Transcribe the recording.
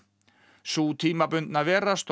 sú tímabundna vera stóð